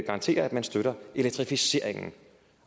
garanterer at man støtter elektrificeringen